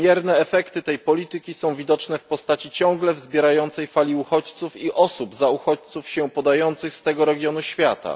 Wymierne efekty tej polityki są widoczne w postaci ciągle wzbierającej fali uchodźców i osób za uchodźców się podających z tego regionu świata.